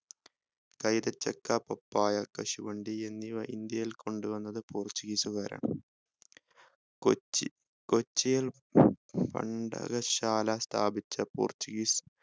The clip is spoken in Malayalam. കൈതച്ചക്ക പപ്പായ കശുവണ്ടി എന്നിവ ഇന്ത്യയിൽ കൊണ്ടു വന്നത് portuguese കാരാണ് കൊച്ചി കൊച്ചിയിൽ കണ്ടകശാല സ്ഥാപിച്ച portuguese